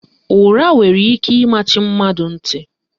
Ụra nwere ike ịmachi mmadụ ntị